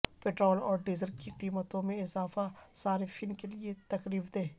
petrol اور diesel کی قیمتوں میں اضافہ صارفین کے لیے تکلیف دہ